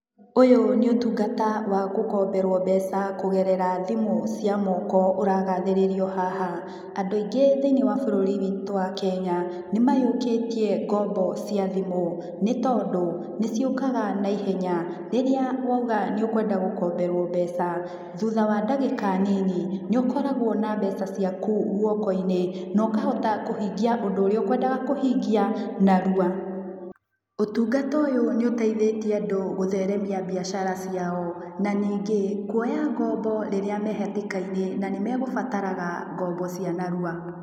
Ũyũ nĩ ũtungata wa gũkomberwo mbeca kũgerera thimũ cia moko ũragathĩrĩrio haha. Andũ aingĩ thĩiniĩ wa bũrũri witũ wa Kenya, nĩ mayũkĩtie ngombo cia thimũ, ni tondũ, nĩ ciũkaga naihenya. Rĩrĩa wauga nĩ ũkwenda gũkomberwo mbeca, thutha wa ndagĩka nini, nĩũkoragwo na mbeca ciaku guoko-inĩ, na ũkahota kũhingia ũndũ ũrĩa ũkwendaga kũhingia narua. Ũtungata ũyũ nĩ ũteithĩtie andũ gũtheremia mbiacara ciao. Na ningĩ, kũoya ngombo rĩrĩa me hatĩka-inĩ na nĩmegũbataraga ngombo cia narua.